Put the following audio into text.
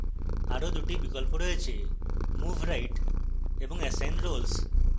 আরো 2 টি বিকল্প রয়েছে: move right এবং assign roles